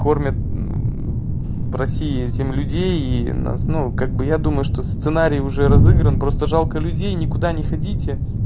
кормят в россии этим людей и нас ну как бы я думаю что сценарий уже разыгран просто жалко людей ни куда не ходите